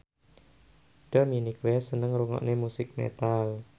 Dominic West seneng ngrungokne musik metal